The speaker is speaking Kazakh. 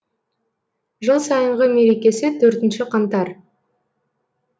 жыл сайынғы мерекесі төртінші қаңтар